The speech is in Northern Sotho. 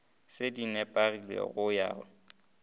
se di nepagale go ya